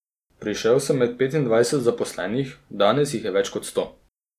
Prišel sem med petindvajset zaposlenih, danes jih je več kot sto.